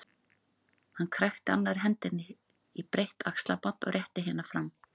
Hann krækti annarri hendi í breitt axlaband og rétti hina fram.